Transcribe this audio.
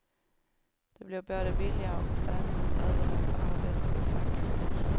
Det blir både billigare och säkrare att överlåta arbetet på fackfolk.